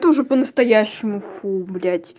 ту же по-настоящему фу блять